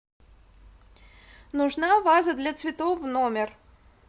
нужна ваза для цветов в номер